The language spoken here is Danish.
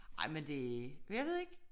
Ej men det jeg ved ikke